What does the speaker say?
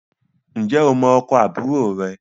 Ǹjẹ́ o mọ ọkọ̀ àbúrò rẹ